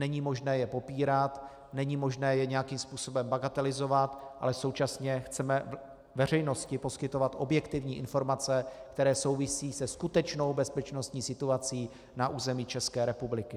Není možné je popírat, není možné je nějakým způsobem bagatelizovat, ale současně chceme veřejnosti poskytovat objektivní informace, které souvisí se skutečnou bezpečnostní situací na území České republiky.